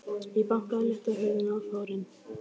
Ég bankaði létt á hurðina og fór inn.